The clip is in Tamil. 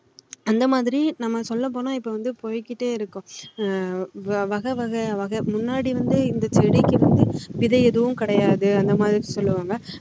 அந்த மாதிரி நம்ம சொல்ல போனா இப்போ வந்து போயிக்கிட்டே இருக்கும் வகை வகையா முன்னாடி வந்து செடிக்கு விதை எதுவும் கிடையாது அந்தமாரி சொல்லுவாங்க